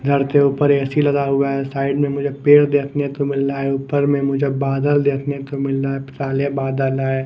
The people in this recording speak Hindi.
धरते ऊपर ए_सी लगा हुआ है साइड में पेड़ देखने को मिल रहा है ऊपर में मुझे बादल देखने को मिल रहा है साले बादल है।